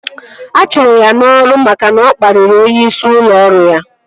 A chụrụ ya n'ọrụ maka na ọ kpariri onyeisi ụlọ ọrụ ya